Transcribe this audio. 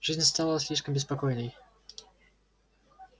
жизнь стала слишком беспокойной